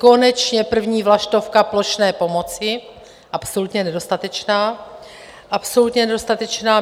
Konečně první vlaštovka plošné pomoci, absolutně nedostatečná, absolutně nedostatečná!